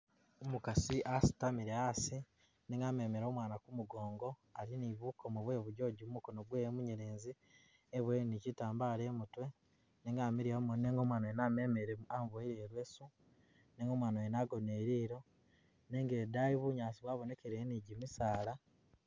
Umukasi asitamile asi nenga amemile umwaana kumugongo, ali ni bukomo bwe bugonzi mu mukono gwewe munyelezi eboyele ni kitambala imutwe, nenga amiliya mumoni nenga umwaana wene amumemele amuboyileko i'leesu nenga umwaana mwene agonise lilo nenga idaayi bunyaasi bwabonekileyo ni gimisaala.